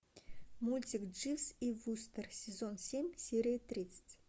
мультик дживс и вустер сезон семь серия тридцать